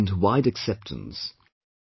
This has gained wide acceptance